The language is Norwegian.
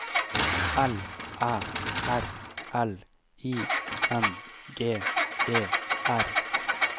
L Æ R L I N G E R